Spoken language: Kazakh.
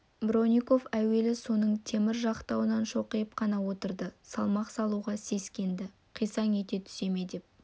бронников әуелі соның темір жақтауына шоқиып қана отырды салмақ салуға сескенді қисаң ете түсе ме деп